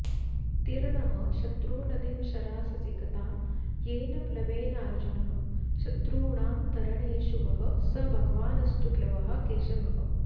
तीर्णः शत्रुनदीं शराससिकतां येन प्लवेनार्जुनः शत्रूणां तरणेषु वः स भगवानस्तु प्लवः केशवः